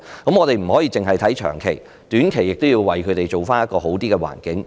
我們不可以只看長期，短期來說也要為他們營造較佳的環境。